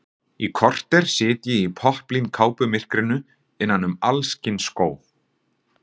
Í korter sit ég í popplínkápumyrkrinu innan um alls kyns skó.